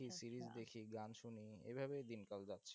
series দেখি গান শুনি এইভাবে দিনকাল যাচ্ছে।